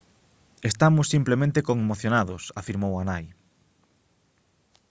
«estamos simplemente conmocionados» afirmou a nai